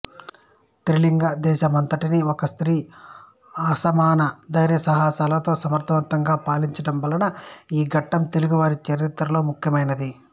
త్రిలింగదేశమంతటినీ ఒక స్త్రీ అసమాన ధైర్య సాహసాలతో సమర్ధవంతంగా పాలించడం వలన ఈ ఘట్టం తెలుగువారి చరిత్రలో ముఖ్యమైనది